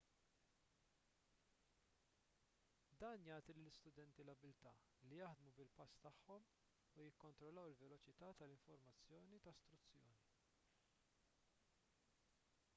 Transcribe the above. dan jagħti lill-istudenti l-abbiltà li jaħdmu bil-pass tagħhom u jikkontrollaw il-veloċità tal-informazzjoni ta' struzzjoni